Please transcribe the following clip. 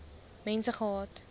mense gehad